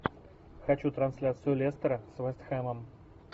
хочу трансляцию лестера с вест хэмом